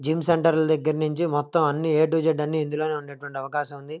Gym centre ల ధగరనుంచి నించి మొత్తం అన్ని ఏ టు జెడ్ అని ఇందులోనే ఉండేటటువంటి అవకాశం ఉంది.